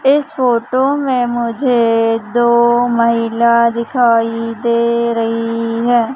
इस फोटो में मुझे दो महिला दिखाई दे रही है।